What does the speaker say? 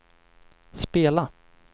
spela